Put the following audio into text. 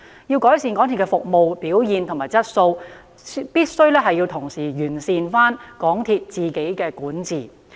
要改善港鐵的服務表現和質素，必須同時完善港鐵公司的管治。